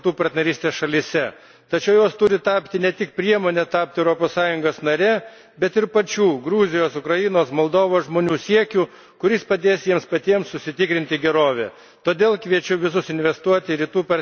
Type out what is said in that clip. Šiandien daug šnekame apie būtinas reformas Rytų partnerystės šalyse, tačiau jos turi tapti ne tik priemone tapti Europos Sąjungos narėmis, bet ir pačių Gruzijos, Ukrainos, Moldovos žmonių siekiu, kuris padės jiems paties užsitikrinti gerovę.